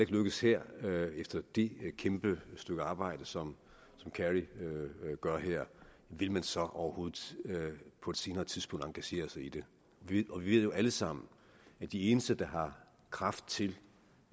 lykkes her efter det kæmpe stykke arbejde som kerry gør her vil man så overhovedet på et senere tidspunkt engagere sig i det vi ved jo alle sammen at de eneste der har kraft til